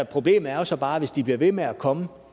problemet er så bare hvis de bliver ved med at komme